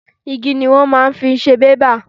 Igi ni wọ́n máa fi ń ṣe bébà.